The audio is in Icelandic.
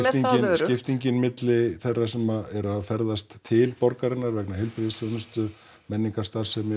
skiptingin milli þeirra sem eru að ferðast til borgarinnar vegna heilbrigðisþjónustu menningarstarfsemi